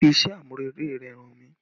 Fi iṣẹ́ amurele rẹ hàn mí!